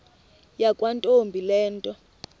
yakwantombi le nto